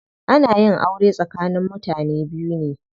Ana yin aure tsakanin mutane biyu ne.